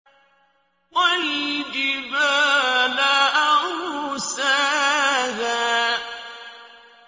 وَالْجِبَالَ أَرْسَاهَا